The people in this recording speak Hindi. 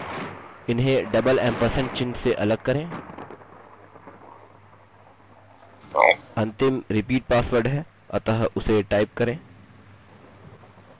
else हम लिखेंगे echo please fill in और मोटे अक्षरों में all fields